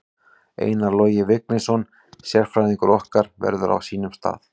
Einar Logi Vignisson sérfræðingur okkar verður á sínum stað.